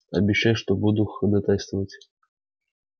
обещаю что буду ходатайствовать